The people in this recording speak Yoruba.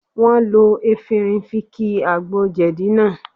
Wọ́n lo efinrin fi ki àgbo jẹ̀dí lánàá